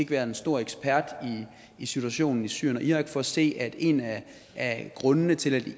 være en stor ekspert i situationen i syrien og irak for at se at en af grundene til